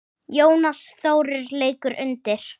Jónas Þórir leikur undir.